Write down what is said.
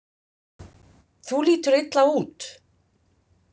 Þú lítur illa út